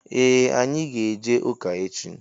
Ee anyị ga- eje ụka echi